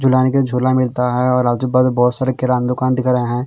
जुलाई के झोला मिलता हैं और आजू बाजू बहुत सारे किरान दुकान दिख रहे हैं।